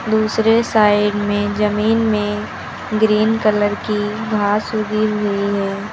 दूसरे साइड में जमीन में ग्रीन कलर की घास उगी हुई है।